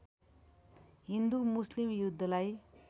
हिन्दु मुस्लिम युद्धलाई